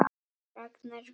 Ragnar Vignir.